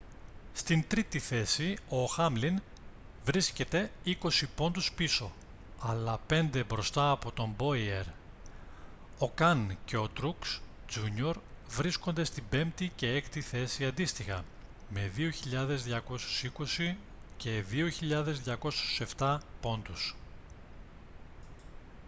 στην τρίτη θέση ο χάμλιν βρίσκεται είκοσι πόντους πίσω αλλά πέντε μπροστά από τον μπόιερ ο καν και ο τρουξ τζούνιορ βρίσκονται στην πέμπτη και έκτη θέση αντίστοιχα με 2.220 και 2.207 πόντους